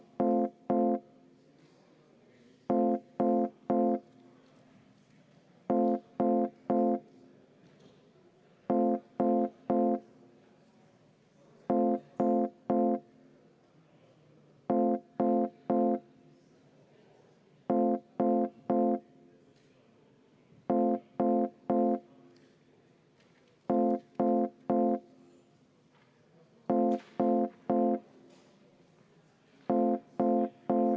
Aga enne seda tähtsat nupulevajutust ma paluksin EKRE fraktsiooni nimel kümme minutit vaheaega.